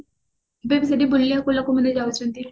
ବାକି ସେଠି ବୁଲିବାକୁ ଲୋକମାନେ ଯାଉଛନ୍ତି